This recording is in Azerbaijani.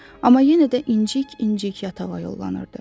Amma yenə də incik-incik yatağa yollanırdı.